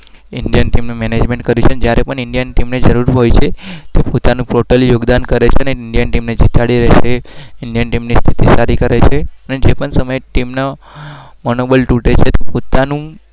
Indian team A